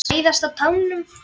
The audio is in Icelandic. Læðast á tánum.